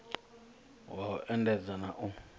wa u endedza na u